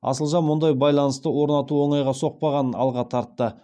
асылжан мұндай байланысты орнату оңайға соқпағанын алға тартты